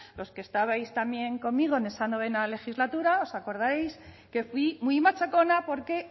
los que estabais también conmigo en esa novena legislatura os acordáis que fui muy machacona porque